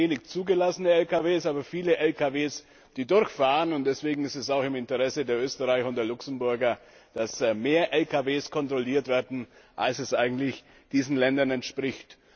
Da gibt es wenig zugelassene Lkw, aber viele Lkw, die durchfahren. Deswegen ist es auch im Interesse der Österreicher und der Luxemburger, dass mehr Lkw kontrolliert werden, als es eigentlich diesen Ländern entspricht.